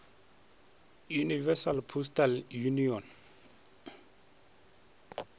universal postal union